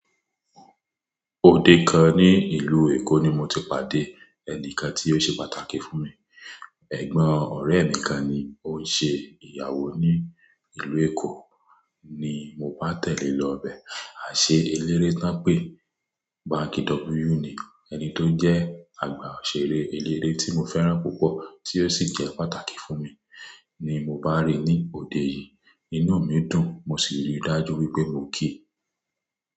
Ọdẹ kan ní ìlú Èkó ni mo ti pàdé, ẹnìkan tí ó ṣe pàtàkì fún mi. Ẹ̀gbọ́n ọ̀rẹ́ mi kan ni ó ń ṣe ìyàwó ní ìlú Èkó ni mo bá tẹ̀lé lọ bẹ̀. A ṣe eléré tán pé Banky W ni, ẹni tó jẹ́ àgbà òṣèré eléré tí mo fẹ́ràn púpọ̀ tí ó sì jẹ́ pàtàkì fún mi, ni mo bá rí ní ọdẹ yí. Inú mi dùn mo sì rí dájú wípé mo kí.